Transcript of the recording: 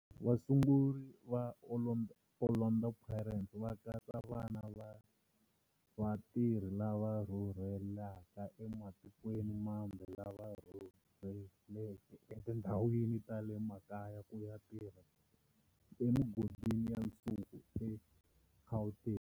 Vasunguri va Orlando Pirates va katsa vana va vatirhi lava rhurhelaka ematikweni mambe lava rhurheleke etindhawini ta le makaya ku ya tirha emigodini ya nsuku eGauteng.